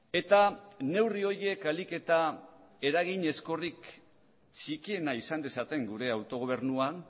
eta neurri horiek ahalik eta eragin ezkorrik txikiena izan dezaten gure autogobernuan